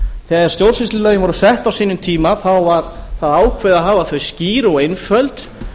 þegar stjórnsýslulögin voru sett á sínum tíma var það ákveðið að hafa þau skýr og einföld